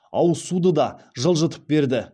ауызсуды да жылжытып берді